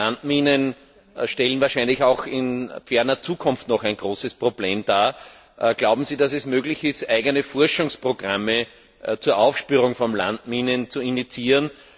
Landminen stellen wahrscheinlich auch in ferner Zukunft noch ein großes Problem dar. Glauben Sie, dass es möglich ist, eigene Forschungsprogramme zur Aufspürung von Landminen zu initiieren?